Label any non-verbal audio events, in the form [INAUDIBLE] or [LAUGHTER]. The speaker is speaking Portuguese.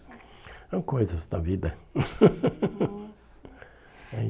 são coisas da vida. [LAUGHS] Nossa